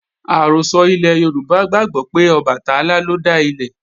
Àrọ́sọ ilẹ̀ Yorùbá gbàgbó pé Ọbàtálá lọ dá ilé